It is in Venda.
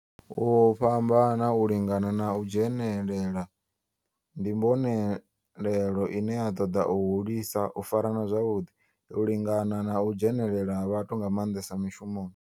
U fhambana, u lingana na u dzhenelela, ndi mbonelelo ine ya toda u hulisa u farana zwavhudi, u lingana na u dzhenelela ha vhathu nga mandesa mishumoni.